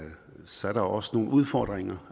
så er der også nogle udfordringer